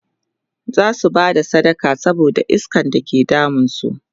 zasu Bada sadaka saboda iskan da ke damun su